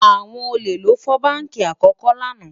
àwọn ólè ló fọ bánkì àkókò lànà